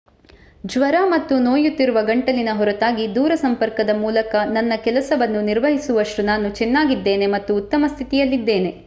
ಜ್ವರ ಮತ್ತು ನೋಯುತ್ತಿರುವ ಗಂಟಲಿನ ಹೊರತಾಗಿ ದೂರಸಂಪರ್ಕದ ಮೂಲಕ ನನ್ನ ಕೆಲಸವನ್ನು ನಿರ್ವಹಿಸುವಷ್ಟು ನಾನು ಚೆನ್ನಾಗಿದ್ದೇನೆ ಮತ್ತು ಉತ್ತಮ ಸ್ಥಿತಿಯಲ್ಲಿದ್ದೇನೆ